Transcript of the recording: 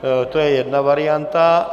To je jedna varianta.